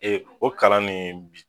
o kalan nin